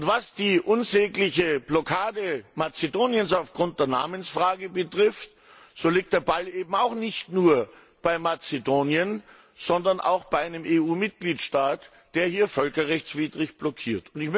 Was die unsägliche Blockade Mazedoniens aufgrund der Namensfrage betrifft, so liegt der Ball eben auch nicht nur bei Mazedonien, sondern bei einem EU Mitgliedstaat, der hier völkerrechtswidrig blockiert.